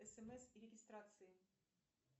смс регистрации